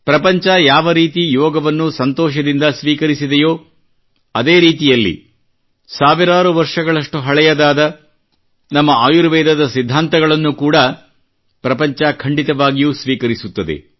ಪ್ರಪಂಚ ಯಾವರೀತಿ ಯೋಗವನ್ನು ಸಂತೋಷದಿಂದ ಸ್ವೀಕರಿಸಿದೆಯೋ ಅದೇರೀತಿಯಲ್ಲಿ ಸಾವಿರಾರು ವರ್ಷಗಳಷ್ಟು ಹಳೆಯದಾದ ನಮ್ಮ ಆಯುರ್ವೇದದ ಸಿದ್ಧಾಂತಗಳನ್ನು ಕೂಡಾ ಪ್ರಪಂಚ ಖಂಡಿತವಾಗಿಯೂ ಸ್ವೀಕರಿಸುತ್ತದೆ